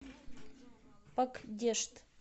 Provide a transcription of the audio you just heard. пакдешт